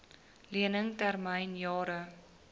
lening termyn jare